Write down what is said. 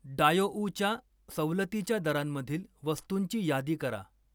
डायोउच्या सवलतीच्या दरांमधील वस्तूंची यादी करा.